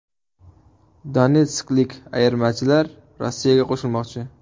Donetsklik ayirmachilar Rossiyaga qo‘shilmoqchi.